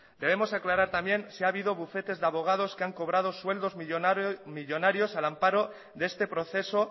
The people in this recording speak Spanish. debemos aclarar también si ha habido bufetes de abogados que han cobrado sueldos millónarios al amparo de este proceso